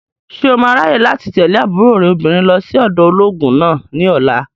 Ṣé o máa ráyè láti tẹ̀lé àbúrò rẹ̀ obìnrin lọ sí ọ̀dọ̀ olóògùn náà ní ọ̀la?